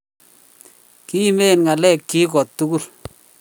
Kimen ng'alekyik kotugul,